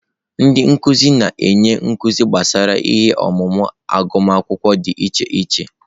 Ndị nkuzi na-enye nkuzi gbasara ihe ọmụmụ agụmakwụkwọ dị iche iche.